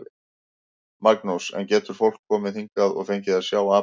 Magnús: En getur fólk komið hingað og fengið að sjá apann?